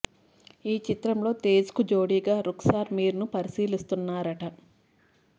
ఈ చిత్రంలో తేజ్ కు జోడిగా రుక్సార్ మీర్ ను పరిశీలిస్తున్నారట